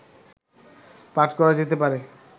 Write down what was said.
পাঠ করা যেতে পারে